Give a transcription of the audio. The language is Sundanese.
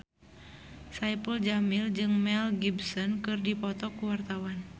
Saipul Jamil jeung Mel Gibson keur dipoto ku wartawan